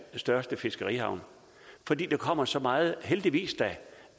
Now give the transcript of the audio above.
største fiskerihavn fordi der kommer så meget heldigvis da